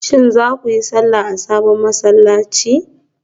Shin za ku yi sallah a sabon masallaci?